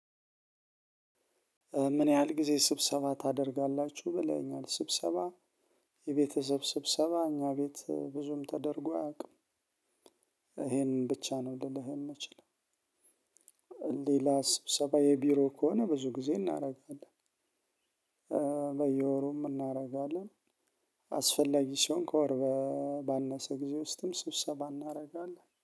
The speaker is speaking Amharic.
ምን ያህል ጊዜ ስብሰባ ታደርጋላችሁ ብለኸኛል ስብሰባ የቤተሰብ ስብሰባ እኛ ቤት ብዙም ተደርጎ አያውቅም ይሄንን ብቻ ነው ልልህ የምንችለው ሌላ ስብሰባዊ ቢሮ ከሆነ ብዙ ጊዜ እናደርጋለን። በየወሩም እናደርጋለን አስፈላጊ ሲሆን ከወር ባነሰ ጊዜ ውስጥም ስብሰባ እናደርጋለን።